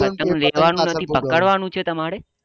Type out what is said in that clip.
પતંગ લેવાનું નથી પકડવાનું છે તમારે